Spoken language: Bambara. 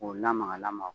K'o lamaga lamaga